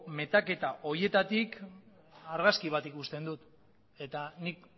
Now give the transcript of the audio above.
metaketa horietatik argazki bat ikusten dut eta nik